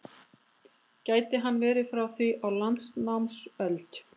Gæti hann verið frá því á landnámsöld?